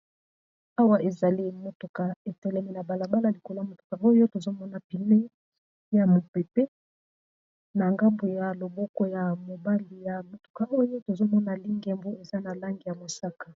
Awa ezali motuka etelemi na balabala likolo ya motuka oyo tozomona pneu ya mopepe na ngambu ya loboko ya mobali ya motuka oyo tozomona lingembu eza na langi ya mosaka.